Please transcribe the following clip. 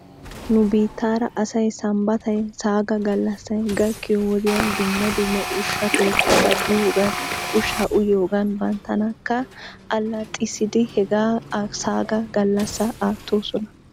nu biittaara asay sambbatay saga galassay gakkiyo wodiyan dumma dumma ushsha keettata biyoogan ushshaa uyiyoogan banttanakka allaxxissiidi he saga gallassaa aattoosona.